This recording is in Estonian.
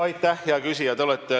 Aitäh, hea küsija!